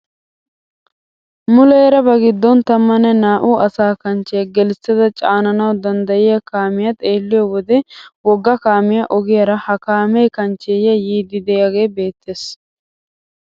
Muleera ba giddon tammane naa"u asa kanchchiyaa gelissada caananawu danddayiyaa kaamiyaa xeelliyoo wode wogga kaamiyaa ogiyaara ha kaamee kanchchee yiidi de'iyaagee beettes.